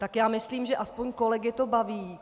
Tak já myslím, že aspoň kolegy to baví.